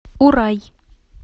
урай